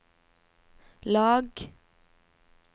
lag